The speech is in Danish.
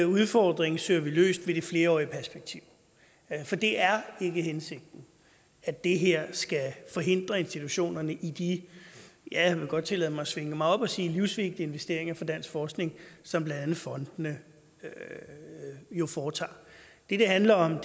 udfordring søger vi løst ved det flerårige perspektiv for det er ikke hensigten at det her skal forhindre institutionerne i de ja jeg vil godt tillade mig at svinge mig op og sige livsvigtige investeringer for dansk forskning som blandt andet fondene jo foretager det det handler om